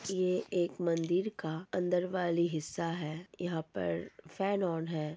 ये एक मंदिर का अंदर वाली हिस्सा है। यहां पर फैन ऑन है।